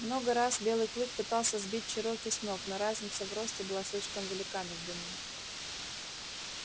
много раз белый клык пытался сбить чероки с ног но разница в росте была слишком велика между ними